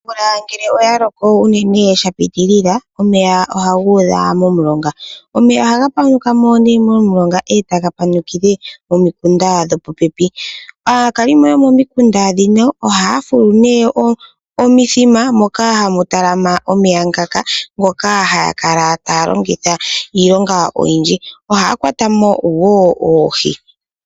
Omvula ngele oya loko unene epitilila, omeya ohaga udha momulonga. Omeya ohaga panukile momilonga etaga panukile nomikunda dhopopepi. Aakwalimo yomomikunda ndhino ohaya fulu omithima moka hamu talama omeya ngaka , ngoka haya kala taya longitha iilonga oyindji. Ohaya kwatamo wo oohi.